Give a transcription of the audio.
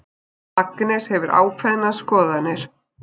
Agnes hefur ákveðnar skoðanir.